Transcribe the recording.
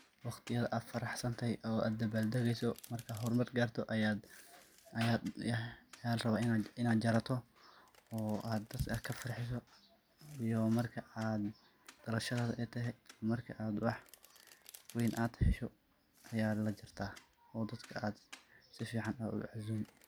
Waqtiyada ad faraxsantahay oo ad dabaldageyso markad hormar garto aya larawa inad jarato oo ad dadka kafarxiso iyo marka ad dhalashadada ey toho, markad ad wax ween ad hesho aya lajarta oo dadka ad sifican u cazumi.